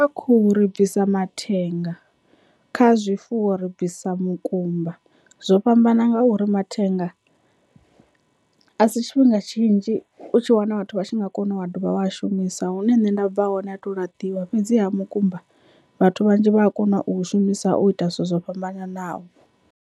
Kha khuhu ri bvisa mathenga kha zwifuwo ri bvisa mukumba zwo fhambana ngauri mathenga a si tshifhinga tshinzhi u tshi wana vhathu vha tshi nga kona u wa dovha wa a shumisa hune nṋe nda bva hone a to laṱiwa, fhedziha mukumba vhathu vhanzhi vha a kona u shumisa u ita zwithu zwo fhambananaho.